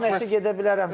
Özü Baş məşqçi gedə bilərəm.